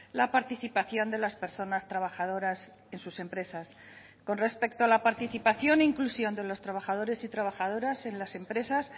la participación de las personas trabajadoras en sus empresas con respecto a la participación e inclusión de los trabajadores y trabajadoras en las empresas